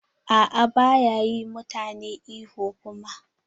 A'a baya yi mutane ihu kuma.